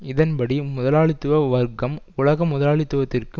இதன்படி முதலாளித்துவ வர்க்கம் உலக முதலாளித்துவத்திற்கு